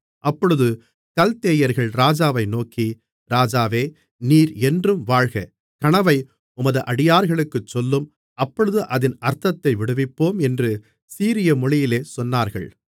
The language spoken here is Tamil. அப்பொழுது கல்தேயர்கள் ராஜாவை நோக்கி ராஜாவே நீர் என்றும் வாழ்க கனவை உமது அடியார்களுக்குச் சொல்லும் அப்பொழுது அதின் அர்த்தத்தை விடுவிப்போம் என்று சீரிய மொழியிலே சொன்னார்கள்